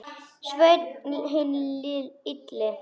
Sveinn hinn illi.